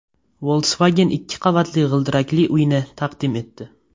Volkswagen ikki qavatli g‘ildirakli uyni taqdim etdi .